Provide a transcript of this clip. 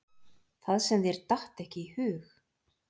Það sem þér datt ekki í hug!